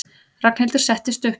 Ragnhildur settist upp.